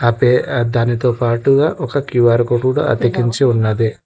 దానితో పాటు కూడా ఒక క్యూ ఆర్ కోడ్ అతికించి ఉన్నది.